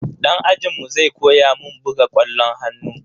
Dan ajinmu zai koya mun buga kwallon hannu.